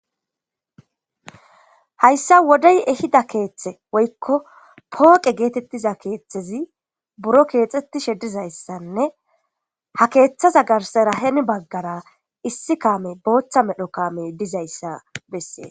Hayssa wodey ehida keeththe woykko pooqe geetettiza keeththezi buro keexxetti shedizayssanne ha keeththaza garserahen baggara issi kaame booththa medho kaame dizayssa bessee.